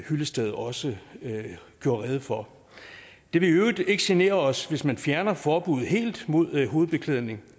hyllested også gjorde rede for det vil i øvrigt ikke genere os hvis man fjerner forbuddet helt mod hovedbeklædning